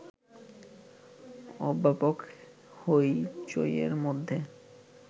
ওব্যাপক হৈ চৈয়ের মধ্যে